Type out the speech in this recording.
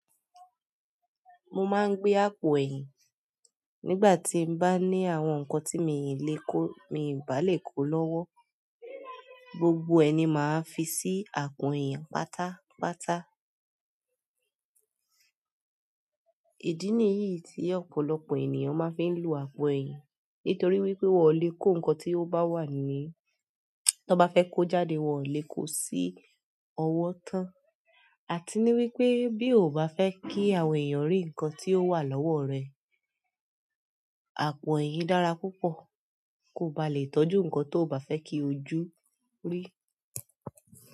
Mo máa ń gbé àpò ẹ̀yìn. Nígbà tí bá ní àwọn nǹkan tí mi ò lè kó, mi ò bá lè kó lọ́wọ́, gbogbo ẹ̀ ni máa fi sí àpò ẹ̀yìn pátápátá. Ìdí nìyí tí ọ̀pọ̀lọpọ̀ ènìyàn máa ń fi ń lo àpò ẹ̀yin nítorí wípé won o le ko nkan to ba wa ni tan ba fe ko jáde won o le ko si owo tan. Àti ní wípé bí o ò bá fẹ́ kí àwọn ènìyàn ri nǹkan tí ó wà lọ́wọ́ rẹ, àpò ẹyin dára púpọ̀. Kó ba lè tọ́jú nǹkan tó ò bá fẹ́ kí ojú rí.